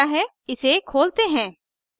इसे खोलते हैं